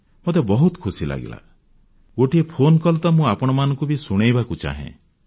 ମୋତେ ବହୁତ ଖୁସି ଲାଗିଲା ଗୋଟିଏ ଫୋନକଲ୍ ତ ମୁଁ ଆପଣମାନଙ୍କୁ ବି ଶୁଣାଇବାକୁ ଚାହେଁ